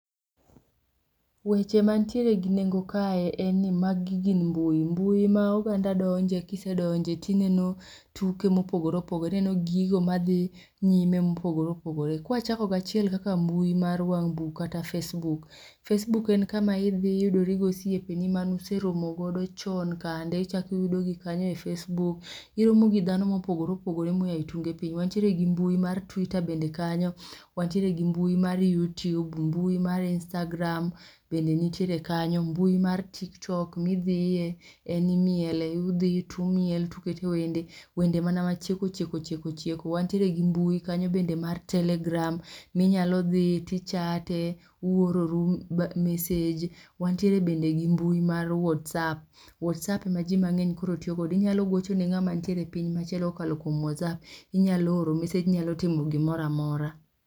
weche manitiere gi nengo kae en ni ma gi gin mbui mbui ma oganda donje ki isedonje ti ineno tuke ma opogore opogore, ineno gigo ma dhi nyime ma opogore opogore, ka wachalko gi achielo ma en mbui mar wang bukkata facebook, facebook en mbui ma idhi to iyudori gi osiepegi ma ne useromo godo vchon kande ichako iyudo gi e facebook, iromo gi dhano ma opogore opogore ma oa e tunge piny wantiere gi mbui mar twitter bende kanyio, wantiere gi mbui mar youtube, mbui mar instagram bende nitiere kanyo, mbui mar tiktok mi idhie imiele idhiye to imile to uketo wende, wende mana ma chieko chieko wantiere gi mbui kanyo mar telegram mi inyalo dhiye ti u chat e uororu message. Wantiere bende gi mbui mar whatsApp whatsApp ema ji mang'eny tiyo go, inyalo goche ne ng'ama nitiere e piny maoko ka okalo whatsApp, inyalo oro message, inyalo timo gi moro amora.